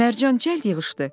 Mərcan cəld yığışdı.